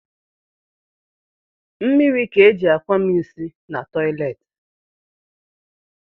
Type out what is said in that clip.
Mmiri ka e ji akwami nsi na toleti